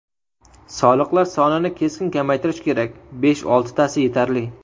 Soliqlar sonini keskin kamaytirish kerak, besh-oltitasi yetarli.